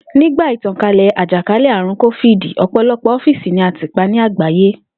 Nígbà ìtànkálè̩ àjàkálè̩-àrùn kófíìdì, ò̩pò̩lo̩pò̩ ófíìsì ni a tì pa ní àgbáyé